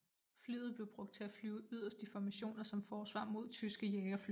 Flyet blev brugt til at flyve yderst i formationer som forsvar mod tyske jagerfly